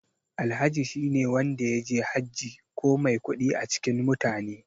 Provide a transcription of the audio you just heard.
Alhaji shine wanda yaje Hajji ko mai kuɗi a cikin mutane.